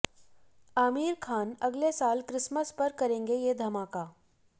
आमिर खान अगले साल क्रिसमस पर करेंगे ये धमाका